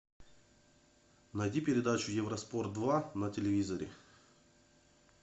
найди передачу евроспорт два на телевизоре